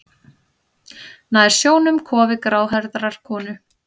Nær sjónum kofi gráhærðrar konu.